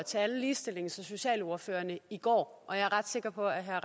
til alle ligestillings og socialordførerne i går og jeg er ret sikker på at herre